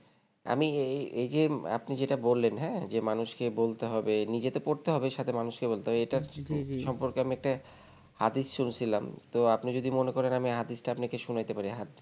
আমি এই এইযে আপনি যেটা বললেন হ্যাঁ যে মানুষকে বলতে হবে নিজেকে তো পড়তে হবে সাথে মানুষকে বলতে হবে যি যি এটা সম্পর্কে আমি একটা হাদিস শুনছিলাম তো আপনি যদি মনে করেন আমি হাদিস টা আপনাকে শুনাতে পারি হাদিস